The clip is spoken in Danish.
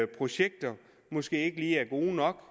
projekter måske ikke lige var gode nok